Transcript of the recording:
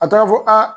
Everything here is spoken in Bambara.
A taara fɔ aa